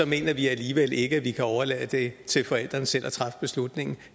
mener vi alligevel ikke at vi kan overlade det til forældrene selv at træffe beslutningen